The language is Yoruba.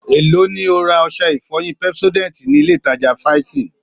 Èló ni o ra ọṣẹ ìfọyín Pepsodent nílé ìtajà fsy?